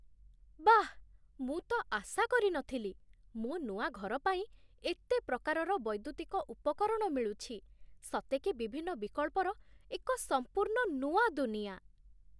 ବାଃ, ମୁଁ ତ ଆଶା କରି ନଥିଲି, ମୋ ନୂଆ ଘର ପାଇଁ ଏତେ ପ୍ରକାରର ବୈଦ୍ୟୁତିକ ଉପକରଣ ମିଳୁଛି, ସତେ କି ବିଭିନ୍ନ ବିକଳ୍ପର ଏକ ସମ୍ପୂର୍ଣ୍ଣ ନୂଆ ଦୁନିଆ!